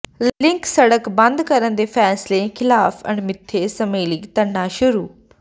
link ਸੜਕ ਬੰਦ ਕਰਨ ਦੇ ਫ਼ੈਸਲੇ ਖ਼ਿਲਾਫ਼ ਅਣਮਿੱਥੇ ਸਮੇਂ ਲਈ ਧਰਨਾ ਸ਼ੁਰੂ